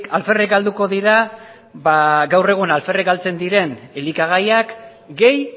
alferrik galduko dira gaur egun alferrik galtzen diren elikagaiak gehi